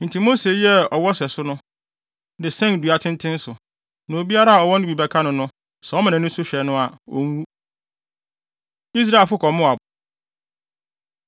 Enti Mose yɛɛ ɔwɔ sɛso no, de sɛn dua tenten so. Na obiara a ɔwɔ no bi bɛka no no, sɛ ɔma nʼani so hwɛ no a, onwu. Israelfo Kɔ Moab